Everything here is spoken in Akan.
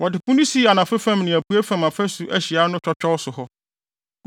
Wɔde Po no sii anafo fam ne apuei fam afasu ahyiae no twɔtwɔw so hɔ.